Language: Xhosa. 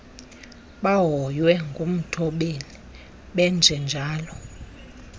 bahoywe ngumthobeli benjenjalo